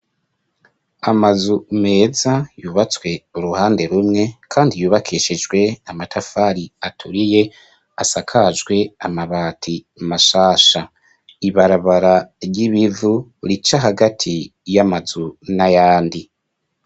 Amazu meza yubatswe uruhande rumwe kandi yubakishijwe amatafari aturiye asakajwe amabati mashasha, ibarabara ry'ibivu rica hagati y'amazu n'ayandi.